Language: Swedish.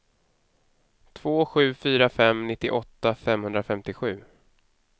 två sju fyra fem nittioåtta femhundrafemtiosju